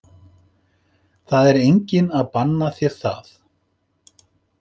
Það er enginn að banna þér það.